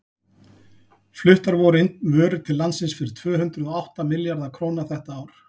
fluttar voru inn vörur til landsins fyrir tvö hundruð og átta milljarða króna þetta ár